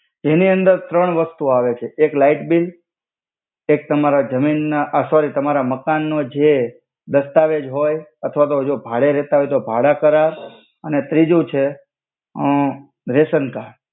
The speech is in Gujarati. જેની અંદર ત્રણ વસ્તુ આવે છે એક લાઇટ બીલ એક તમારા જમીન ના આ સોરી તમારા માકન નો જે દાસ્તવેજ હોય અથ્વા તો જો ભાડે રેહ્તા હોય તો ભાડા કરાર અને ત્રિજુ છે અ રેસન કાર્ડ.